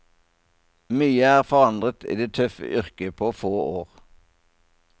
Mye er forandret i det tøffe yrket på få år.